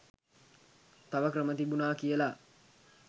තව ක්‍රම තිබුණා කියලා.